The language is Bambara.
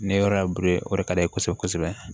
Ni yɔrɔ ye o de ka di ne ye kosɛbɛ kosɛbɛ